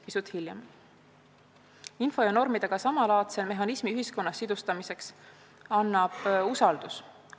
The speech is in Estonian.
Info ja normidega samalaadse mehhanismi ühiskonnas sidustamiseks annab usaldus.